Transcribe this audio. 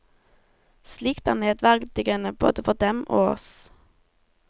Slikt er nedverdigende, både for dem og oss.